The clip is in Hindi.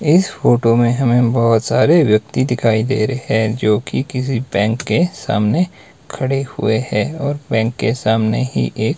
इस फोटो में हमें बहुत सारे व्यक्ति दिखाई दे रहे हैं जो कि किसी बैंक के सामने खड़े हुए हैं और बैंक के सामने ही एक--